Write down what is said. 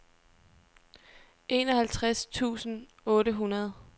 enoghalvtreds tusind otte hundrede